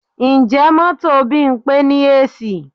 Ǹjẹ́ mọ́tò Bímpé ní AC?